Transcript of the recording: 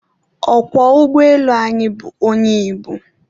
Ọkwọ ụgbọelu anyị bụ onye Igbo